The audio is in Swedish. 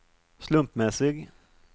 slumpmässig